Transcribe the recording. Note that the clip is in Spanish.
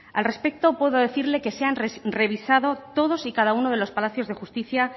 al respecto puede decirle que se han revisado todos y cada uno de los palacios de justicia